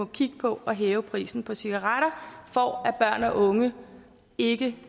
kigge på at hæve prisen på cigaretter for at børn og unge ikke